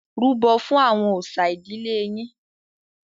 Rúbọ̀ fún àwọn òòṣà ìdílé yín.